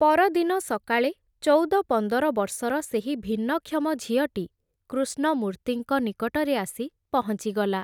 ପରଦିନ ସକାଳେ ଚଉଦ ପନ୍ଦର ବର୍ଷର ସେହି ଭିନ୍ନକ୍ଷମ ଝିଅଟି କୃଷ୍ଣମୂର୍ତ୍ତିଙ୍କ ନିକଟରେ ଆସି ପହଁଚିଗଲା ।